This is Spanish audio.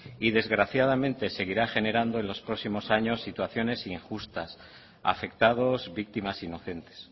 y desgraciadamente seguirá generando en los próximos años situaciones injustas afectados víctimas inocentes